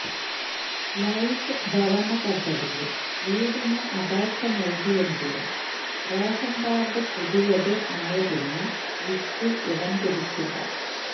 life ഭവന പദ്ധതിയില് വീടിന് അപേക്ഷ നല്കിയെങ്കിലും റേഷന് കാര്ഡ് പുതിയത് ആയതിനാല് ലിസ്റ്റില് ഇടം പിടിച്ചില്ല